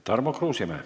Tarmo Kruusimäe.